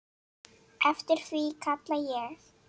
Eftir því kalla ég.